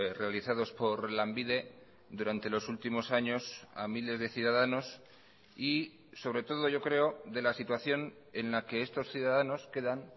realizados por lanbide durante los últimos años a miles de ciudadanos y sobre todo yo creo de la situación en la que estos ciudadanos quedan